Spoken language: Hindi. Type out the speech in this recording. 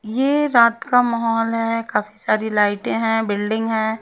ये रात का माहौल है काफी सारी लाइटे हैं बिल्डिंग हैं।